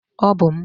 Ọ bụ m.